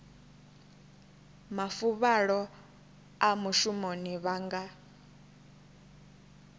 mafuvhalo a mushumoni vha nga